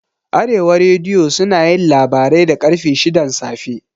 Arewa rediyo sunayin labarai da ƙarfe shidan safe